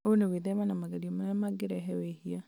ũũ nĩ gwĩthema na magerio marĩa mangĩrehe mehia